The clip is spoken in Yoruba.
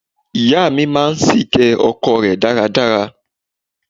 Ìyá mi máa ń ṣìké ọkọ rẹ̀ dáradára.